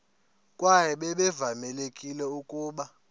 kwaye babevamelekile ukuba